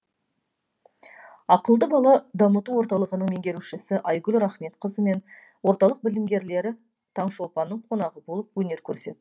ақылды бала дамыту орталығының меңгерушісі айгүл рахметқызы мен орталық білімгерлері таңшолпанның қонағы болып өнер көрсетті